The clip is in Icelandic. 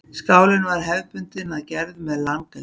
Skálinn var hefðbundinn að gerð með langeldi.